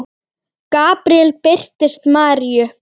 Gabríel birtist Maríu